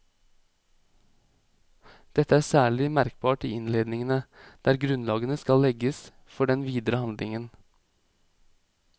Dette er særlig merkbart i innledningene, der grunnlaget skal legges for den videre handlingen.